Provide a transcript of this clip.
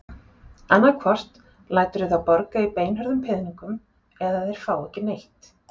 Annaðhvort læturðu þá borga í beinhörðum peningum eða þeir fá ekki neitt.